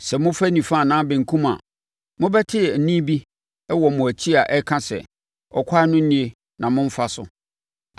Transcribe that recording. Sɛ mofa nifa anaa benkum a, mobɛte ɛnne bi wɔ mo akyi a ɛka sɛ, “Ɛkwan no nie na momfa so.”